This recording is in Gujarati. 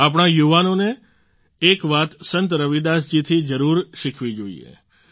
આપણા યુવાઓને એક વાત સંત રવિદાસ જી થી જરૂર શીખવી જોઈએ